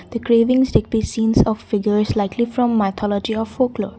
the craving let be scenes of figures likely from mythology of woodlook.